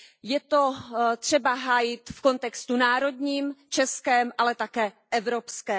Je to třeba hájit v kontextu národním, českém, ale také evropském.